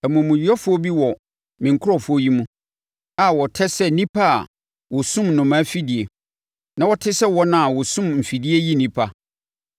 “Amumuyɛfoɔ bi wɔ me nkurɔfoɔ yi mu a wɔtɛ sɛ nnipa a wɔsum nnomaa afidie, na wɔte sɛ wɔn a wɔsum mfidie yi nnipa.